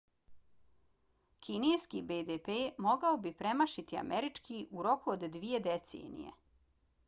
kineski bdp mogao bi premašiti američki u roku od dvije decenije